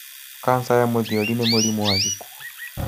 Cancer ya mũthiori nĩ mũrimũ wa gĩkuũ